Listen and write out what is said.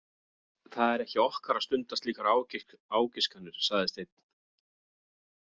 Það er ekki okkar að stunda slíkar ágiskanir, sagði Steinn.